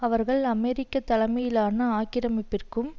அவர்கள் அமெரிக்க தலைமையிலான ஆக்கிரமிப்பிற்கும்